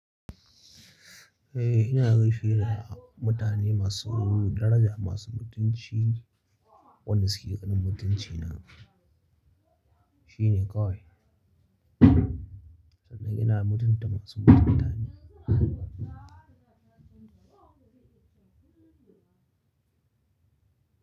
Eh ina rufi da mutane masu daraja, masu mutunci. Wanda suke ganin mutuncina shine kawai. Sannan ina mutunta masu mutunta ni.